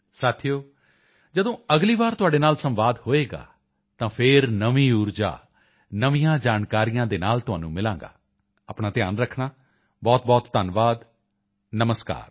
ਸਾਥੀਓ ਜਦੋਂ ਅਗਲੀ ਵਾਰ ਤੁਹਾਡੇ ਨਾਲ ਸੰਵਾਦ ਹੋਵੇਗਾ ਤਾਂ ਫਿਰ ਨਵੀਂ ਊਰਜਾ ਨਵੀਆਂ ਜਾਣਕਾਰੀਆਂ ਦੇ ਨਾਲ ਤੁਹਾਨੂੰ ਮਿਲਾਂਗਾ ਆਪਣਾ ਧਿਆਨ ਰੱਖਣਾ ਬਹੁਤਬਹੁਤ ਧੰਨਵਾਦ ਨਮਸਕਾਰ